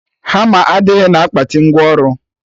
Hama adịghị na akpati ngwa ọrụ